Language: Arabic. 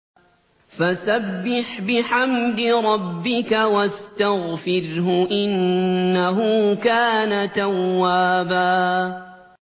فَسَبِّحْ بِحَمْدِ رَبِّكَ وَاسْتَغْفِرْهُ ۚ إِنَّهُ كَانَ تَوَّابًا